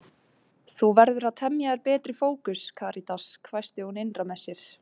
Þú verður að temja þér betri fókus, Karítas, hvæsti hún innra með sér.